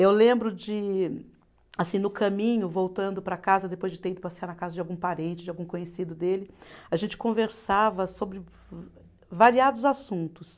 Eu lembro de, assim, no caminho, voltando para casa, depois de ter ido passear na casa de algum parente, de algum conhecido dele, a gente conversava sobre eh variados assuntos.